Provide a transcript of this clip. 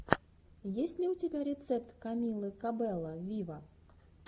есть ли у тебя рецепт камилы кабелло виво